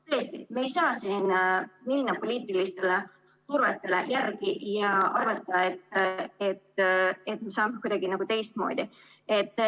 Tõesti, me ei saa siin anda poliitilisele survele järele ja arvata, et me saame kuidagi teistmoodi.